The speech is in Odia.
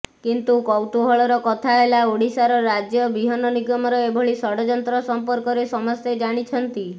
କିନ୍ତୁ କୌତୂହଳର କଥା େହଲା ଓଡ଼ିଶା ରାଜ୍ୟ ବିହନ ନିଗମର ଏଭଳି ଷଡ଼ଯନ୍ତ୍ର ସଂପର୍କରେ ସମସ୍ତେ ଜାଣିଛନ୍ତି